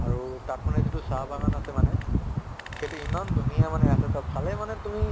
আৰু তাত মানে যিটো চাহ বাগান আছে মানে, সেইটো ইমান ধুনীয়া মানে আছে তাত চালে মানে তুমি